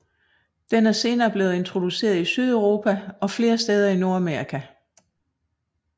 Den er senere blevet introduceret i Sydeuropa og flere steder i Nordamerika